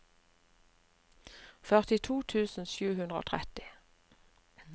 førtito tusen sju hundre og tretti